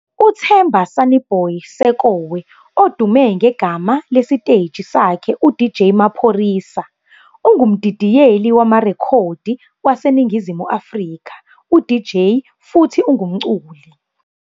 UThemba Sonnyboy Sekowe, odume ngegama lesiteji sakhe uDJ Maphorisa, ungumdidiyeli wamarekhodi waseNingizimu Afrika, uDJ futhi ungumculi.